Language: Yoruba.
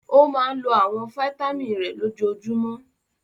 Ó máa ń lo àwọn fataímìn rẹ̀ lójoojúmọ́?